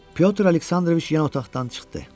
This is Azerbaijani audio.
Pyotr Aleksandroviç yen otaqdan çıxdı.